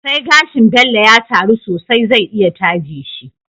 Sai gashin Bello ya taru sosai zai iya taje shi